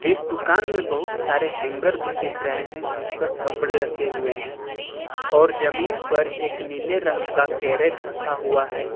इस दुकान में बहुत सारे हैंगर भी दिख रहे हैं जिस पर कपड़े रखे हुए हैं और जमीन पर एक नीले रंग का कैरेट रखा हुआ है।